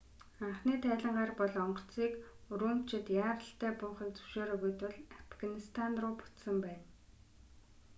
анхны тайлангаар бол онгоцыг урумчид яаралтай буухыг зөвшөөрөөгүй тул афганистан руу буцсан байна